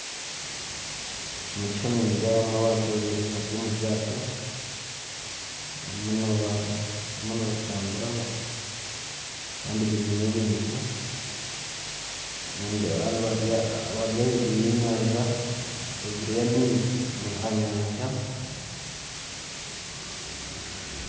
Omu kishushani nindeebamu abantu babiri bari omu ryato, barimu nibatambura. Kandi bainemu ebintu. Nindeeba abandi bari ahaiguru y'enyanja, ahaiguru y'amaizi aha nyanja